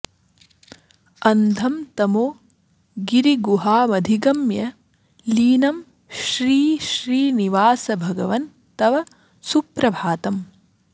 अन्धं तमो गिरिगुहामधिगम्य लीनं श्रीश्रीनिवास भगवन् तव सुप्रभातम्